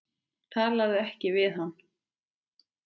Talaðu ekki við hann.